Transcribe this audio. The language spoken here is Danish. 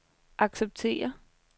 acceptere